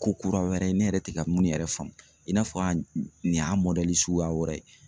Ko kura wɛrɛ ne yɛrɛ ti ka mun yɛrɛ faamu, i n'a fɔ nin y'a suguya wɛrɛ ye.